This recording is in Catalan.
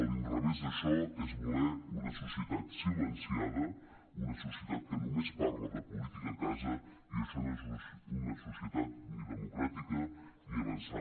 l’inrevés d’això és voler una societat silenciada una societat que només parla de política a casa i això no és una societat ni democràtica ni avançada